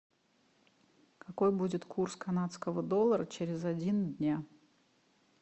какой будет курс канадского доллара через один дня